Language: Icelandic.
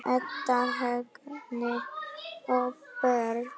Edda, Högni og börn.